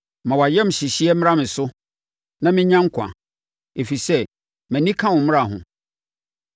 Ma wʼayamhyehyeɛ mmra me so, na mennya nkwa, ɛfiri sɛ mʼani ka wo mmara ho.